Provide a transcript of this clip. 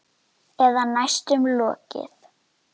Eða næstum lokið.